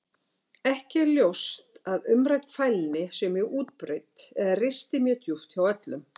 Ekki er ljóst að umrædd fælni sé mjög útbreidd eða risti mjög djúpt hjá öllum.